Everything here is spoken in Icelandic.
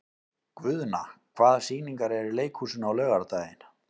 Guðna, hvaða sýningar eru í leikhúsinu á laugardaginn?